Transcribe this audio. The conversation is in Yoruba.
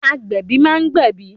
Agbẹ̀bí ma ń gbẹ̀bí.